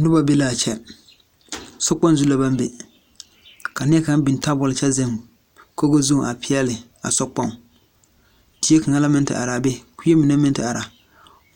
Nobɔ be laa kyɛ sokpoŋ zu la baŋ be ka nie kaŋ biŋ tabol kyɛ zeŋ kogo zu a peɛɛli a sokpoŋ die kaŋa la meŋ te araa be kuee mine la meŋ te are